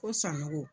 Ko sannɔgɔ